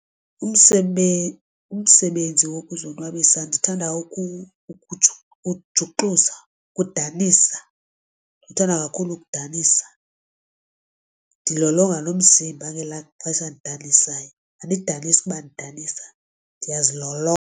Umsebenzi wokuzonwabisa ndithanda ukujuxuzwa ukudanisa. Ndithanda kakhulu ukudanisa ndilolonge nomzimba, ngelaa xesha ndidanisayo and sidanise ukuba ndanisa ndiyazilolonga.